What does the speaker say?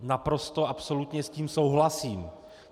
Naprosto absolutně s tím souhlasím.